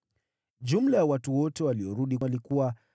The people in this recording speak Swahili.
Jumla ya watu wote waliorudi walikuwa 42,360;